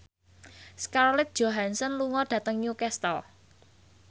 Scarlett Johansson lunga dhateng Newcastle